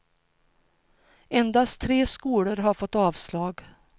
Endast tre skolor har fått avslag.